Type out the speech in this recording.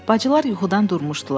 Bacılar yuxudan durmuşdular.